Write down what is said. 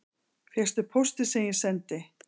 Fékkstu póstinn sem ég sendi